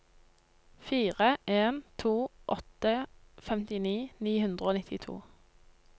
fire en to åtte femtini ni hundre og nittito